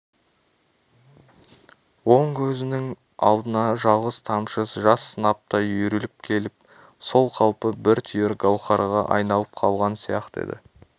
оң көзінің алдына жалғыз тамшы жас сынаптай үйіріліп келіп сол қалпы бір түйір гауһарға айналып қалған сияқты еді